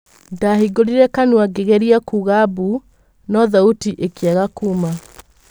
Ndahingũrĩre kanua ngĩgerĩa kuga mbu no thauti ĩkĩaga kuuma.